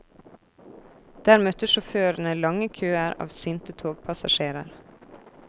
Der møtte sjåførene lange køer av sinte togpassasjerer.